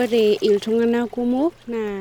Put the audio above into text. Ore iltung'ana kumok naa